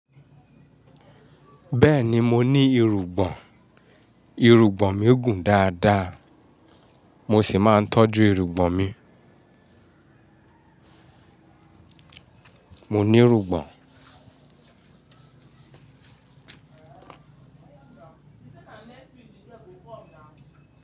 Bẹ́ẹ̀ni mo ní irugbọn, irugbọn mi gùn dáadáa, mo sì máa ń tọ́jú irugbọn mi. Mo ní irugbọn.